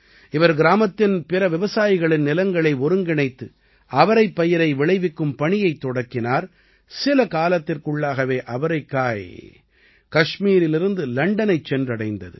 இவர் கிராமத்தின் பிற விவசாயிகளின் நிலங்களை ஒருங்கிணைத்து அவரைப்பயிரை விளைவிக்கும் பணியைத் தொடக்கினார் சில காலத்திற்குள்ளாகவே அவரைக்காய் கஷ்மீரிலிருந்து லண்டனைச் சென்றடைந்தது